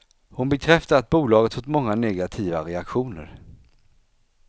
Hon bekräftar att bolaget fått många negativa reaktioner.